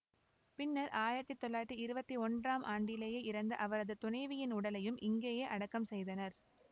பின்னர் ஆயிரத்தி தொள்ளாயிரத்தி இருபத்தி ஒன்றாம் ஆண்டிலேயே இறந்த அவரது துணைவியின் உடலையும் இங்கேயே அடக்கம் செய்தனர்